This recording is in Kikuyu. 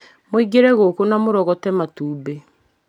Mũingĩrie ngũkũ na mũrogote matumbĩ